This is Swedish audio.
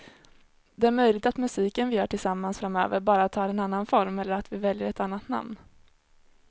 Det är möjligt att musiken vi gör tillsammans framöver bara tar en annan form eller att vi väljer ett annat namn.